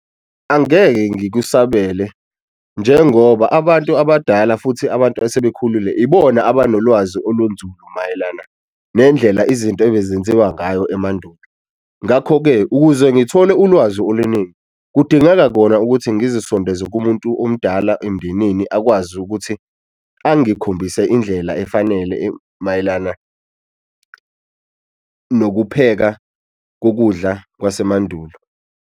Angeke ngikusabele njengoba abantu abadala futhi abantu asebekhulile ibona abanolwazi olunzulu mayelana nendlela izinto ebezenziwa ngayo emandulo. Ngakho-ke ukuze ngithole ulwazi oluningi, kudingeka kona ukuthi ngizisondeze kumuntu omdala emndenini akwazi ukuthi angikhombise indlela efanele mayelana nokupheka kokudla kwasemandulo.